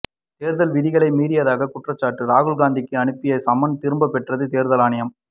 தேர்தல் விதிகளை மீறியதாக குற்றச்சாட்டு ராகுல் காந்திக்கு அனுப்பிய சம்மன் திரும்ப பெற்றது தேர்தல் ஆணையம்